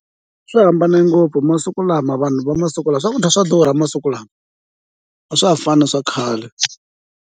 Swi hambane ngopfu masiku lama vanhu va masiku lama swakudya swa durha masiku lama a swa ha fani na swa khale.